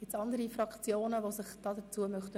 Möchten sich weitere Fraktionen dazu äussern?